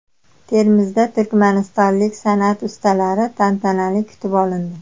Termizda turkmanistonlik san’at ustalari tantanali kutib olindi.